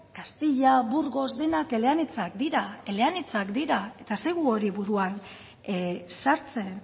gaztela burgos denak eleanitzak dira eta ez zaigu hori buruan sartzen